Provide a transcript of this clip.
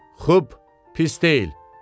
Xub, pis deyil.